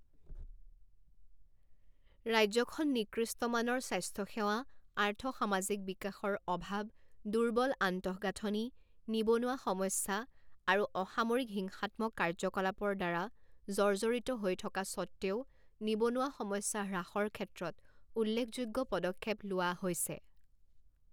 ৰাজ্যখন নিকৃষ্ট মানৰ স্বাস্থ্যসেৱা আৰ্থ সামাজিক বিকাশৰ অভাৱ দুৰ্বল আন্তঃগাঁথনি নিবনুৱা সমস্যা আৰু অসামৰিক হিংসাত্মক কাৰ্যকলাপৰ দ্বাৰা জৰ্জৰিত হৈ থকা স্বত্ত্বেও নিবনুৱা সমস্যা হ্ৰাসৰ ক্ষেত্ৰত উল্লেখযোগ্য পদক্ষেপ লোৱা হৈছে।